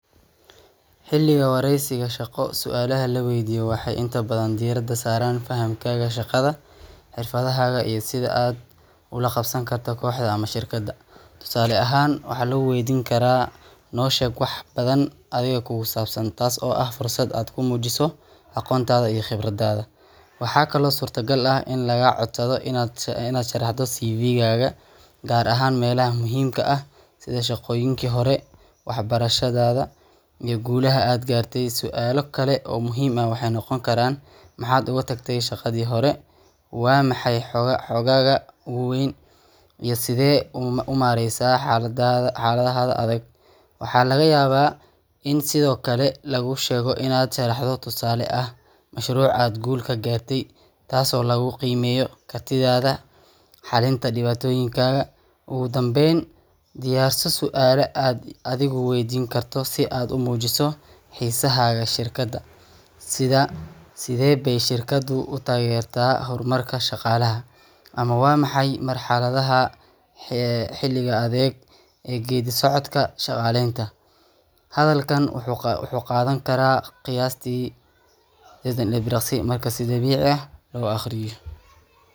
Xilliga wareysiga shaqo, su’aalaha la waydiiyo waxay inta badan diiradda saaraan fahamkaaga shaqada, xirfadahaaga, iyo sida aad ula qabsan karto kooxda ama shirkadda. Tusaale ahaan, waxaa lagu waydiin karaa: Noo sheeg wax badan adiga kugu saabsan, taas oo ah fursad aad ku muujiso aqoontaada iyo khibradaada. Waxaa kaloo suurtogal ah in lagaa codsado inaad sharaxdo CV gaaga, gaar ahaan meelaha muhiimka ah sida shaqooyinkii hore, waxbarashada, iyo guulaha aad gaartay. Su’aalo kale oo muhiim ah waxay noqon karaan: Maxaad uga tagtay shaqadii hore, Waa maxay xooggaaga ugu weyn iyo Sidee u maareysaa xaaladaha adag. Waxaa laga yaabaa in sidoo kale laguu sheego inaad sharaxdo tusaale ah mashruuc aad guul ka gaartay, taasoo lagu qiimeeyo kartidaada xalinta dhibaatooyinka. Ugu dambeyn, diyaarso su’aalo aad adigu waydiin karto si aad u muujiso xiisahaaga shirkadda, sida Sidee bay shirkaddu u taageertaa horumarka shaqaalaha ama Waa maxay marxaladaha xiga ee geedi-socodka shaqaaleynta. Hadalkaan wuxuu qaadan karaa qiyaastii seddetan ilbiriqsi marka si dabiici ah loo akhriyo.